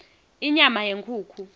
inyama yenkhukhu